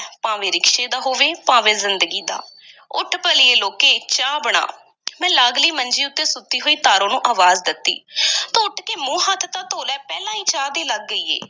ਭਾਵੇਂ ਰਿਕਸ਼ੇ ਦਾ ਹੋਵੇ, ਭਾਵੇਂ ਜ਼ਿੰਦਗੀ ਦਾ ਉੱਠ ਭਲੀਏ ਲੋਕੇ, ਚਾਹ ਬਣਾ ਮੈਂ ਲਾਗਲੀ ਮੰਜੀ ਉੱਤੇ ਸੁੱਤੀ ਹੋਈ ਤਾਰੋ ਨੂੰ ਅਵਾਜ਼ ਦਿੱਤੀ ਤੂੰ ਉੱਠ ਕੇ ਮੂੰਹ-ਹੱਥ ਤਾਂ ਧੋ ਲੈ, ਪਹਿਲਾਂ ਹੀ ਚਾਹ ਦੀ ਲੱਗ ਗਈ ਹੈ।